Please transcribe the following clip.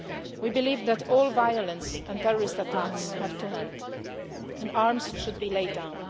We believe that all violence and terrorist attacks have to end and arms should be laid